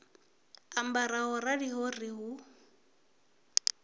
ambara ho raliho ri hu